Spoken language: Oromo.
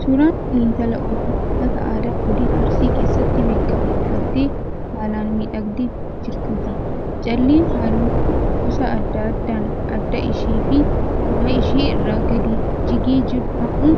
Suuraan kun intala Oromoo uffata aadaa godina Arsii keessatti beekamu uffattee, haalaan miidhagdee jirtuuti. Calleen halluu gosa adda addaan adda ishee fi morma ishee irraan gadi jigee jiru ammoo